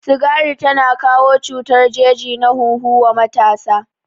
Sigari tana kawo cutar jeji na hunhu wa matasa